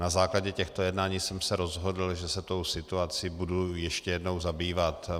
Na základě těchto jednání jsem se rozhodl, že se tou situací budu ještě jednou zabývat.